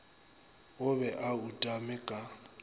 o be a utame ka